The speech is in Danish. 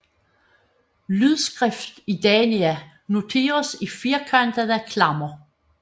Lydskrift i Dania noteres i firkantede klammer